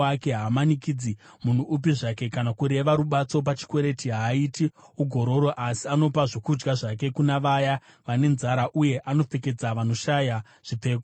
Haamanikidzi munhu upi zvake kana kureva rubatso pachikwereti. Haaiti ugororo, asi anopa zvokudya zvake kuna vaya vane nzara, uye anopfekedza vanoshaya zvipfeko.